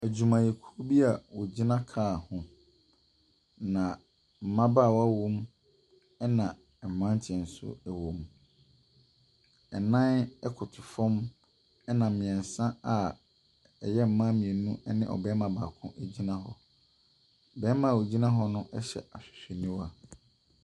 Adwumayɛkuo bi a ɔgyina car ho na mmabaawa wɔ mu, ɛna mmranteɛ nso ɛwɔ mu. Nnan ɛkoto fam ɛna mmiɛnsa a ɛyɛ mmaa mmienu ɛne barima baako egyina hɔ. Barima a ɔgyina hɔ no hyɛ ahwehwɛniwa.